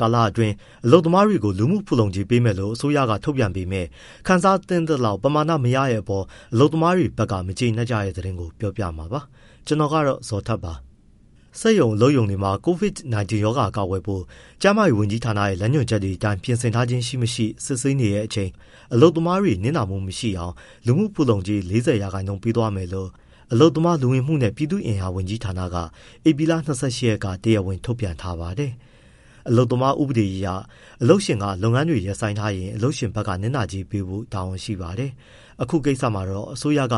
ကာလအတွင်း အလုပ်သမားတွေကို လူမှုဖူလုံကြေးပေးမယ်လို့ အစိုးရထုတ်ပြန်ပေမဲ့၊ ခံစားသင့်သလောက် ပမာဏ မရတဲ့အပေါ် အလုပ်သမားတွေဘက်က မကျေနပ်ကြတဲ့ သတင်းကို ဗွီအိုအေမြန်မာပိုင်းသတင်းထောက် ကိုဇော်ထက်က ပြောပြပါမယ်။ စက်ရုံ၊ အလုပ်ရုံတွေမှာ COVID-19 ရောဂါကာကွယ်ဖို့ ကျန်းမာရေးဝန်ကြီးဌာနရဲ့ လမ်းညွှန်ချက်တွေအတိုင်း ပြင်ဆင်ထားခြင်းရှိ၊ မရှိ စစ်ဆေးနေတဲ့အချိန် အလုပ်သမားတွေ မနစ်နာအောင် လူမှုဖူလုံကြေး ၄၀ ရာခိုင်နှုန်းကို ပေးသွားမယ်လို့ အလုပ်သမား၊ လူဝင်မှုနဲ့ ပြည်သူ့အင်အားဌာနက ဧပြီလ ၂၈ ရက်က တရားဝင် ထုတ်ပြန်ထားပါတယ်။ အလုပ်သမားဥပဒေအရ အလုပ်ရှင်က လုပ်ငန်းတွေ ရပ်ဆိုင်းထားရင် အလုပ်ရှင်ဘက်က နစ်နာကြေးပေးဖို့ တာဝန်ရှိပါတယ်။ အခုကိစ္စမှာတော့ အစိုးရက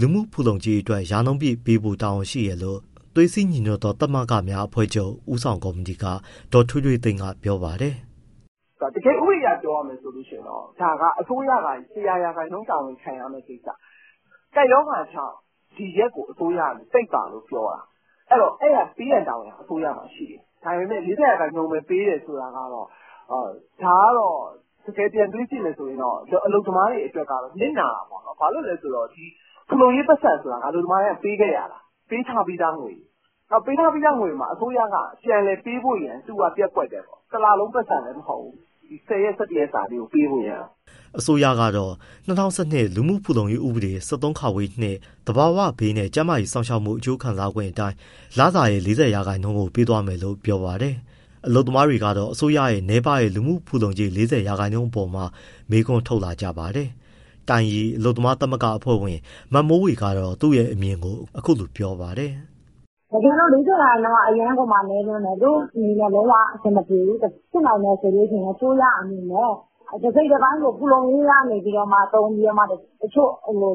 လူမှုဖူလုံကြေးအတွက် ရာနှုန်းပြည့်ပေးဖို့ တာဝန်ရှိတယ်လို့ သွေးစည်းညီညွှတ်သော သမဂ္ဂများအဖွဲ့ချုပ် ဦးဆောင်ကော်မတီက ဒေါ်ထွေးထွေးသိန်းက ပြောပါတယ်။ “တကယ် ဥပဒေအရ ပြောရမယ်ဆိုရင် အစိုးရက ၁၀၀ ရာခိုင်နှုန်း တာဝန်ခံရမယ့်ကိစ္စ ကပ်ရောဂါကြောင့် ဒီရက်ကို အစိုးရက ပိတ်ပါလို့ပြောတာ။ ပေးရန်တာဝန်က အစိုးရမှာ ရှိတယ်။ ဒါပေမဲ့ ၄၀ ရာခိုင်နှုန်းပဲ ပေးတယ်ဆိုတာကတော့ ဒါကတော့ တကယ် ပြန်တွေးကြည့်မယ်ဆိုရင် အလုပ်သမားတွေအတွက်က နစ်နာတာပေါ့။ ဘာလို့လဲဆိုတော့ ဖူလုံရေး ပိုက်ဆံဆိုတာ အလုပ်သမားတိုင်းက ပေးခဲ့ရတာ၊ ပေးထားပြီးသားငွေ။ ပေးထားပြီးသားငွေကို အစိုးရက ပြန်လည်ပေးဖို့ရန် ပျက်ကွက်တယ်ပေါ့၊ တလလုံး ပိုက်ဆံလည်း မဟုတ်ဘူး။ ဒီ ၁၀ ရက်၊ ၁၁ ရက်စာလေးကို ပေးဖို့ရန်ပေါ့။” အစိုးရကတော့ ၂၀၁၂ လူမှုဖူလုံရေးဥပဒေ ၁၃ သဘာဝဘေးနဲ့ ကျန်းမာရေးစောင့်ရှောက်မှု အကျိုးခံစားခွင့် အတိုင်း လစာရဲ့ ၄၀ ရာခိုင်နှုန်းကို ပေးသွားမယ်လို့ ပြောပါတယ်။ အလုပ်သမားတွေကတော့ အစိုးရရဲ့ နည်းပါးတဲ့ လူမှုဖူလုံကြေး ၄၀ ရာခိုင်နှုန်းအပေါ်မှာ မေးခွန်းထုတ်လာကြပါတယ်။ တိုင်ရီအလုပ်သမားသမဂ္ဂ အဖွဲ့ဝင် မမိုးဝေက သူ့ရဲ့အမြင်ကို အခုလိုပြောပါတယ်။ “တကယ်တော့ ၄၀ ရာခိုင်နှုန်းက အရမ်းကိုမှ နည်းလွန်းတယ်။ တို့အနေနဲ့ လုံးဝအဆင်မပြေဘူး။ ဖြစ်နိင်မယ်ဆိုရင် အစိုးရအနေနဲ့ တစိတ်တပိုင်းကို ဖူလုံရေးထဲကနေ သုံးပြီး တချို့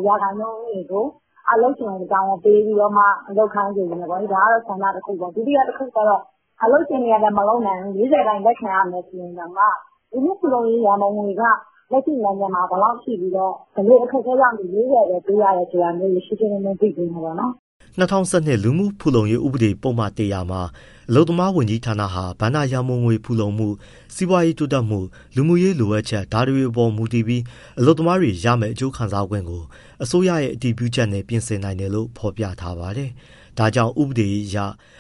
ရာခိုင်နှုန်းကို အလုပ်ရှင်ကို တာဝန်ပေးပြီးမှ လုပ်ခိုင်းစေမယ်ပေါ့။ ဒါကတော့ ဆန္ဒ တခုပေါ့။ ဒုတိယ တခုကတော့ အလုပ်ရှင်တွေကလည်း မလုပ်နိုင်ဘူးလေ။ ၄၀ ရာခိုင်နှုန်း လက်ခံရမယ်ဆိုရင်တောင်မှ လူမှုဖူလုံရေး ရန်ပုံငွေက လက်ရှိနိုင်ငံမှာ ဘယ်လောက်ရှိပြီလဲ ဘယ်လို အခက်အခဲကြောင့် ဒီ ၄၀ ရာခိုင်နှုန်းပဲ ပေးရတယ်ဆိုတာ ရှင်းရှင်းလင်းလင်း သိချင်တယ်ပေါ့။” ၂၀၁၂ လူမှုဖူလုံရေး ဥပဒေပုဒ်မ မှာ အလုပ်သမားဝန်ကြီးဌာနဟာ ဘဏ္ဍာရန်ပုံငွေဖူလုံမှု၊ စီးပွားရေးတိုးတက်မှု၊ လူမှုရေး လိုအပ်ချက် ဒါတွေအပေါ် မူတည်ပြီး အလုပ်သမားတွေရမယ့် အကျိုးခံစားခွင့်ကို အစိုးရရဲ့ အတည်ပြုချက်နဲ့ ပြင်ဆင်နိုင်တယ်လို့ ဖော်ပြထားပါတယ်။ ဒါကြောင့် ဥပဒေအရ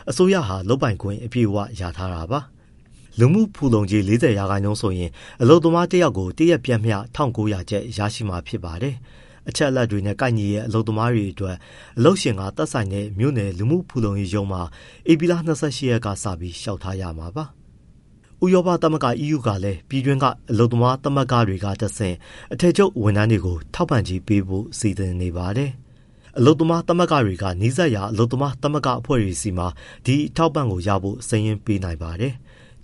အစိုးရရဲ့ဟာ လုပ်ပိုင်ခွင့်အပြည့်အဝ ရထားတာပါ။ လူမှုဖူလုံကြေး ၄၀ ရာခိုင်နှုန်းဆိုရင် အလုပ်သမား တယောက်ကို တရက် ပျမ်းမျှ ၁,၉၀၀ ကျပ်ရရှိမှာ ဖြစ်ပါတယ်။ အချက်အလက်တွေနဲ့ ကိုက်ညီတဲ့ အလုပ်သမားတွေအတွက် အလုပ်ရှင်တွေက သက်ဆိုင်တဲ့ မြို့နယ်လူမှုဖူလုံရေးရုံးတွေမှာ ဧပြီလ ၂၈ ရက်ကစပြီး လျှောက်ထားရမှာပါ။ ဥရောပသမဂ္ဂ EU ကလည်း ပြည်တွင်းက အလုပ်သမားသမဂ္ဂတွေကတဆင့် အထည်ချုပ်ဝန်ထမ်းတွေကို ထောက်ပံ့ကြေးပေးဖို့ စီစဉ်နေပါတယ်။ အလုပ်သမားတွေက နီးစပ်ရာ အလုပ်သမား သမဂ္ဂအဖွဲ့တွေဆီမှာ ဒီအထောက်အပံ့ရဖို့ စာရင်းပေးနိုင်ပါတယ်။